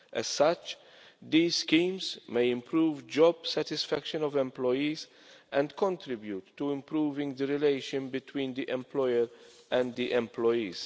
As such, these schemes may improve the job satisfaction of employees and contribute to improving the relationship between the employer and the employees.